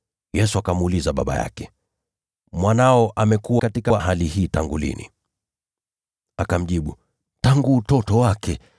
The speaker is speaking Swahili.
Yesu akamuuliza baba yake, “Mwanao amekuwa katika hali hii tangu lini?” Akamjibu, “Tangu utoto wake.